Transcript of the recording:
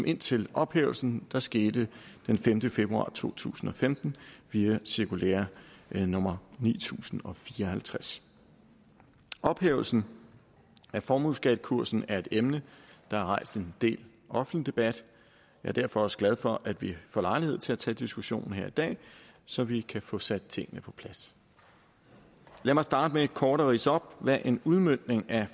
indtil ophævelsen der skete den femte februar to tusind og femten via cirkulære nummer ni tusind og fire og halvtreds ophævelsen af formueskattekursen er et emne der har rejst en del offentlig debat er derfor også glad for at vi får lejlighed til at tage diskussionen her i dag så vi kan få sat tingene på plads lad mig starte med kort at ridse op hvad en udmøntning af